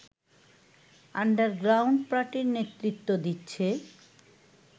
underground পার্টির নেতৃত্ব দিচ্ছে